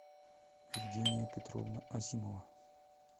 евгения петровна азимова